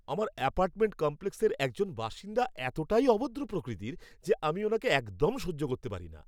আমার অ্যাপার্টমেন্ট কমপ্লেক্সের একজন বাসিন্দা এতটাই অভদ্র প্রকৃতির যে আমি ওনাকে একদম সহ্য করতে পারি না।